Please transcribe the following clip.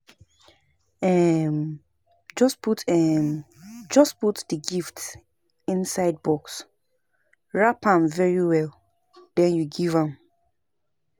um Just put um Just put the gift inside box, wrap am very well den you give am